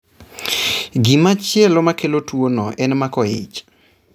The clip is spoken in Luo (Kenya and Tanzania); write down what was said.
Gimachielo makelo tuwono en mako ich.